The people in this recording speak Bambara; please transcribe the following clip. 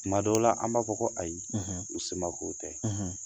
Tuma dɔw la an b'a fɔ ko ayi, u samako tɛ